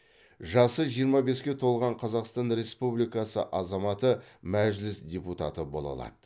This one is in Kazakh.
жасы жиырма беске толған қазақстан республикасы азаматы мәжіліс депутаты бола алады